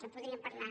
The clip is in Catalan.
en podríem parlar